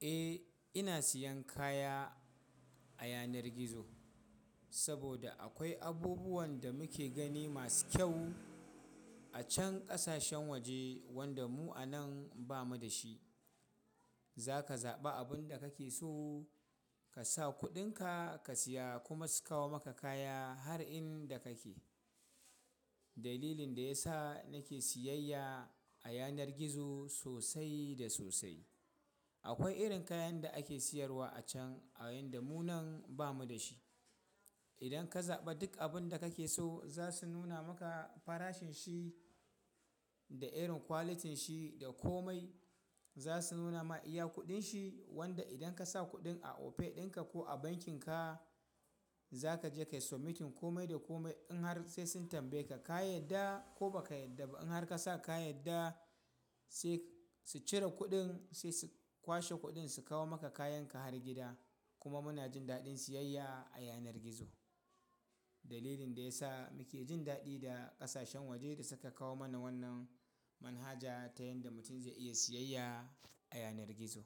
Eh, ina siyan kaya a yanar gizo. Saboda akwai abubuwan da muke gani masu kyau a can ƙasashen waje wanda mu a nan ba mu da shi. Za ka zaɓi abin da kake so ka sa kuɗinka ka siya kuma su kawo maka kaya har inda kake. Dalilin da ya sa nake siyayya a yanar gizo sosai da sosai. Akwai irin kayan da ake sayarwa acan a inda mu nan bamuda shi idan ka zaɓa duk abin da kake so za su nuna maka farashin shi da irin kwalitin shi da komai. Za su nuna ma iya kuɗin shi wanda idan ka sa kuɗin a Opay ɗinka ko a bankin ka za ka je kai sumitin komai da komai in har sai sun tambaye ka ka yadda ko ba ka yarda ba in har ka sa ka yadda sai su cire kuɗin sai su kwashe kuɗin su kawo maka kayan ka har gida. Kuma muna jin daɗin siyayya a yanar gizo. Dalilin da ya sa muke jin daɗi da ƙasashen waje da suka kawo mana wannan manhaja ta yanda mutum zai iya siyayya a yanar gizo.